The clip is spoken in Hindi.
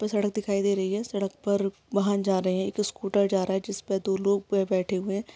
सड़क दिखाई दे रही है| सड़क पर वाहन जा रहे हैं| एक स्कूटर जा रहा है जिस पर दो लोग बैठे हुए है।